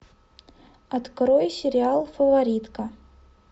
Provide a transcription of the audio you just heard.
открой сериал фаворитка